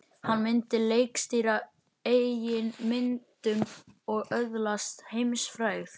Hann myndi leikstýra eigin myndum og öðlast heimsfrægð.